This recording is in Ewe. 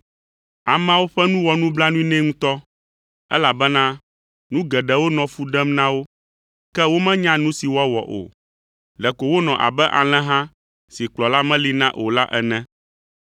Ameawo ƒe nu wɔ nublanui nɛ ŋutɔ, elabena nu geɖewo nɔ fu ɖem na wo, ke womenya nu si woawɔ o. Ɖeko wonɔ abe alẽha si kplɔla meli na o la ene.